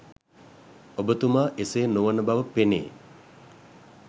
ඔබතුමා එසේ නොවන බව පෙනේ.